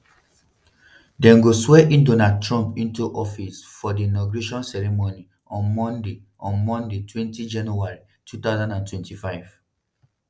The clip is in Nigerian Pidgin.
dem go swear in donald trump into office for di inauguration ceremony on monday on mondaytwentyjanuary 2025.